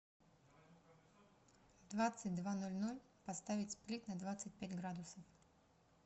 в двадцать два ноль ноль поставить сплит на двадцать пять градусов